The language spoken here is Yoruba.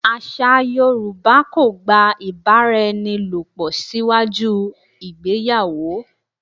Àṣà Yorùbá kò gba ìbáraẹnilòpò síwájú ìgbéyàwó.